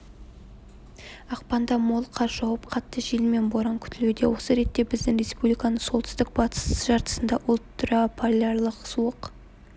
ақпанда мол қар жауып қатты жел мен боран күтілуде осы ретте біздің республиканың солтүстік-батыс жартысында ультраполярлық суық